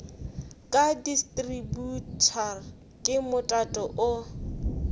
ka distributor ke motato o